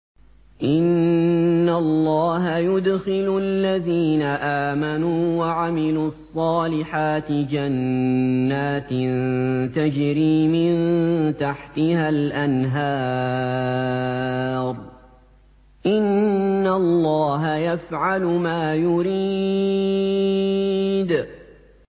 إِنَّ اللَّهَ يُدْخِلُ الَّذِينَ آمَنُوا وَعَمِلُوا الصَّالِحَاتِ جَنَّاتٍ تَجْرِي مِن تَحْتِهَا الْأَنْهَارُ ۚ إِنَّ اللَّهَ يَفْعَلُ مَا يُرِيدُ